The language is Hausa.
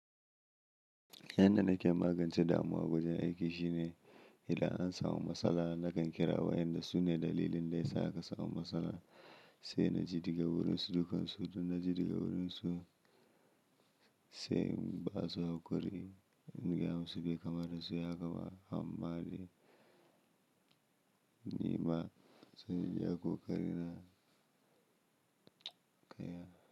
Yanda nake magance damuwa wajen aiki shine idan an samu matsala nakan kira wayanda su ne dalilin da yasa aka samu matsalar sai na ji daga wurinsu dukkan su. Don na ji daga wurinsu sai in ba su hakuri in gaya musu bai kama ta suyi hakga ba amma de ni ma zan iya ƙoƙari na kaiya.